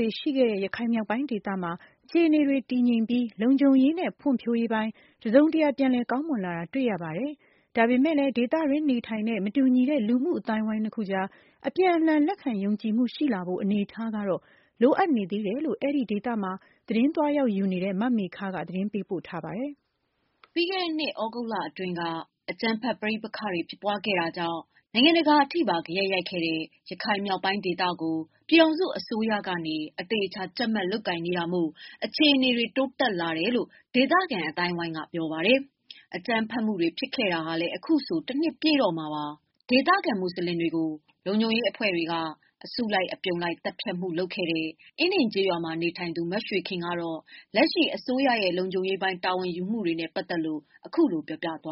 တွေရှိခဲ့တဲ့ ရခိုင်မြောက်ပိုင်းဒေသမှာ အခြေအနေတွေ တည်ငြိမ်ပြီး လုံခြုံရေးနဲ့ဖွံဖြိုးရေးပိုင်း တစုံတရာပြန်လည်ကောင်းမွန်လာတယ် တွေ့ရပါတယ်။ ဒါပေမယ့်လည်း ဒေသတွင်း နေထိုင်တဲ့ မတူညီတဲ့ လူမှုအသိုင်းအဝိုင်းနှစ်အခုအကြား အပြန်အလှန်လက်ခံယုံကြည်မှုရှိလာဖို့ အနေအထားကတော့ လိုအပ်နေသေးတယ်လို့ အဲဒီဒေသမှာ သတင်းသွားရောက်ယူနေတဲ့ မမေခက သတင်းပေးပို့ထားပါတယ်။ ပြီးခဲ့တဲ့နှစ်သြဂုတ်လအတွင်းက အကြမ်းဖက်ပဋိပက္ခတွေဖြစ်ခဲ့တာကြောင့် နိုင်ငံတကာအထိပါ ဂယက်ရိုက်ခဲ့တဲ့ ရခိုင်မြောက်ပိုင်းဒေသကို ပြည်ထောင်စုအစိုးရကနေ အသေအချာ ကြပ်မတ်လုပ်ကိုင်နေတာမို့ အခြေအနေတွေ တိုးတက်လာတယ်လို့ ဒေသခံ အသိုင်းအဝိုင်းက ပြောပါတယ်။ အကြမ်းဖက်မှုတွေဖြစ်ခဲ့တာလည်း အခုဆို တနှစ်ပြည့်တော့မှာပါ။ ဒေသခံ မွတ်ဆလင်တွေကို အစုလိုက်အပြုံလိုက်သတ်ဖြတ်မှုဖြစ်ခဲ့တဲ့ အင်းဒင်ကျေးရွာမှာနေထိုင်သူမရွှေခင်ကတော့ လက်ရှိ အစိုးရရဲ့ လုံခြုံရေးပိုင်း တာဝန်ယူမှုတွေနဲ့ပတ်သတ်လို့ "ကျမတို့ကတော့ အခု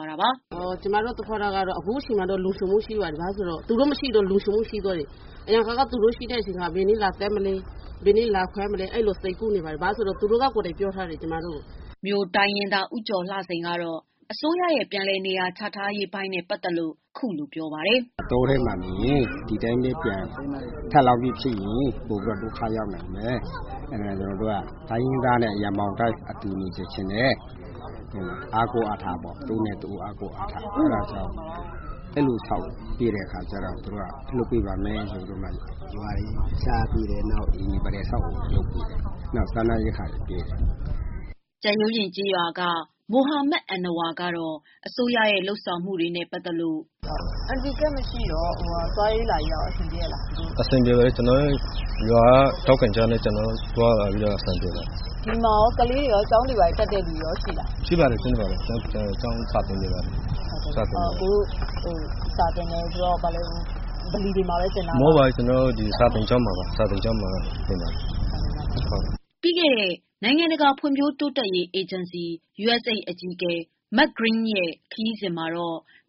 အချိန်မှာ လုံခြုံမှုရှိပါတယ် ဘာဖြစ်လို့လဲဆိုတော့ သူတို့မရှိတော့ လုံခြုံမှုရှိသွားတယ် အရင်တုန်းကတော့ ဘယ်နေ့လာဖမ်းမလဲဆိုတာတွေ စိုးရိမ်နေရပါတယ်။ ဘာဖြစ်လို့လဲဆိုတော့ သူတို့ကိုယ်တိုင်ပြောထားတယ် ကျမတို့ကို" မြိုတိုင်းရင်းသား ဦးကျော်လှစိန်ကတော့ အစိုးရရဲ့ ပြန်လည်နေရာချထားရေးပိုင်း နဲ့ပတ်သတ်လို့ အခုလိုပြောပြလာတာ ပါ။ " ဒီအတိုင်းပဲနေရင် ပြန်ဒုက္ခရောက်နိုင်တယ် အဲဒါကြောင့်မို့လို့ ကျနော်တို့ကို တိုင်းရင်းသားတွေ ရင်ဘောင်တန်းပြီးအတူနေစေချင်တယ် ။ တဦးနဲ့ တဦးအားကိုးအားထားဖို့ပေါ့နော် အဲဒါကြောင့် အဲလိုဆောက်ပေးပါမယ်ဆိုပြီးတော့ နေရာတွေချပေးတယ်။ အိမ်အဆောက်အအုံတွေလုပ်ပေးတယ် နောက်ပြီးတော့ စားနပ်ရိက္ခာတွေ ပေးတယ်။" ကြက်ရိုးပြင် ကျေးရွာက မိုဟာမက် အဏ္ဏဝါကတော့ အစိုးရရဲ့ လုပ်ဆောင်မှု တွေနဲ့ပတ်သတ်လို့ မေး။ သွားရေးလာရေးကတော့ အဆင်ပြေရဲ့လား။ ဖြေ။။ ။ အဆင်ပြေပါတယ်။ ရွာက ထောက်ခံချက်တွေနဲ့ ကျနော်တို့ သွားရတာအဆင်ပြေပါတယ်။ မေး။ ။ ဒီမှာ ကလေးတွေ ကျောင်းတွေဘာတွေ တက်တဲ့လူတွေရောရှိလား။ ဖြေ။ ။ ရှိပါတယ် ကျောင်းစာတွေတင်နေပါတယ်။ မေး။ ။စာသင်တယ်ဆိုတော့ ဗလီတွေမှာပဲသင်တာလား။ ဖြေ။ ။ မဟုတ်ပါဘူး ကျနော်တို့ စာသင်ကျောင်းတွေမှာပဲ သင်ပါတယ်။" ပြီးခဲ့တဲ့ နိုင်ငံတကာဖွံ့ဖြိုးတိုးတက်ရေးအေဂျင်စီ အကြီးအကဲ Mark Green ရဲ့ခရီးစဉ်မှာ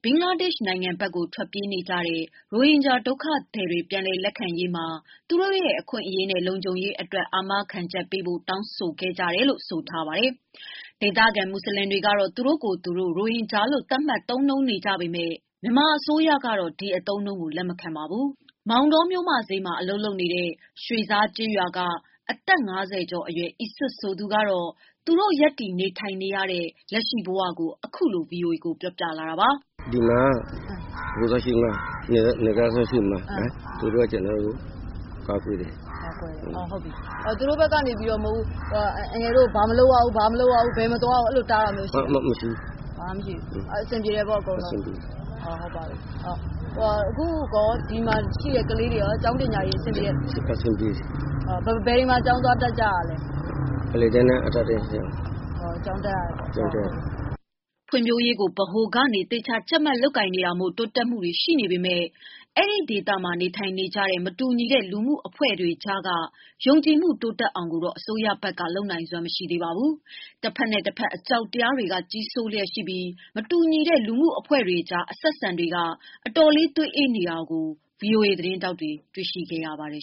ဘင်္ဂလားဒေရှ် နိုင်ငံဘက်ကို ထွက်ပြေးကြတဲ့ ရိုဟင်ဂျာ ဒုက္ခသည်တွေပြန်လည် ရောက်လာရေးမှာ သူတို့ရဲ့ အခွင့် အရေးနဲ့ လုံခြုံရေးအတွက် အာမခံချက်ပေးဖို့ တောင်းခံကြတယ်လို့ ဆိုထားပါတယ်။ ဒေသခံ မွတ်ဆလင်တွေကတော့ သူတို့ကိုယ်သူတို့ ရိုဟင်ဂျာလို့ သတ်မှတ်သုံးနှုန်းပေ့မယ့် မြန်မာအစိုးရကတော့ ဒီအသုံးအနှုံးကို လက်မခံပါဘူး။ မောင်တောမြို့ မဈေးမှာ အလုပ်လုပ်နေတဲ့ ရွှေဇားကျေးရွာက အသက် ၅၀ကျော်အရွယ် အီစွက်ဆိုသူက သူတို့ ရပ်တည်နေထိုင်နေရတဲ့ အခြေအနေကို ခုလိုပြောပြလာပါတယ်။ "ဒီမှာက နယ်ကြားစောင့်တွေရှိတယ်မလား သူတို့က ကျနော်တို့ကို ကာကွယ်တယ်။ မေး။ ။သူတို့ဘက်ကနေပြီးတော့ အန်ကယ်တို့ကို ဘာမလုပ်ရဘူး၊ ဘယ်မသွားရဘူးဆိုပြီးတော့ တားတာတွေရှိလား။ ဖြေ။ ။ဘာမှမရှိဘူး မေး။ ။အဆင်ပြေတယ်ပေါ့ အကုန်လုံး။ အခုဒီမှာရှိတဲ့ကလေးတွေရော ကျောင်းပညာရေးအဆင်ပြေလား ဖြေ။ ။အဆင်ပြေပါတယ်။ မေး။ ။ဘယ်တွေမှာ သွားတက်တာလဲ ဖြေ။ ။အလယ်တန်းနဲ့ အထက်တန်းကျောင်းတွေမှာ ကျောင်းတက်ရပါတယ်။ ဖွံ့ဖြိုးရေးကို ဗဟိုကနေသေချာ ကြပ်မတ်လုပ်ကိုင်တာမို့ တိုးတက်မှုတွေရှိနေပေမယ့် အဲဒီဒေသမှာ နေထိုင်နေကြတဲ့ မတူညီတဲ့ လူမှုအဖွဲ့တွေကြား က ယုံကြည်မှုတိုးတက်အောင်ကိုတော့ အစိုးရဘက်က လုပ်နိုင်စွမ်းမရှိသေးပါဘူး။ တဖက်နဲ့ တဖက်အကြောက်တရားတွေ က ကြီးစိုးလျက်ရှိနေပြီး မတူညီတဲ့ လူမှုအဖွဲ့တွေကြားအဆက်အဆံတွေက အတော်လေးသွေးအေးနေတာကို VOA သတင်းထောက်တွေ တွေ့ခဲ့ရပါတယ်